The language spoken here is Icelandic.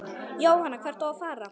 Jóhann: Hvert á að fara?